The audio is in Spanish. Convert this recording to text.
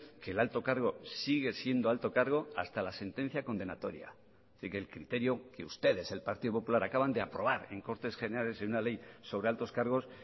que el alto cargo sigue siendo alto cargo hasta la sentencia condenatoria es decir que el criterio que ustedes el partido popular acaban de aprobar en cortes generales en una ley sobre altos cargos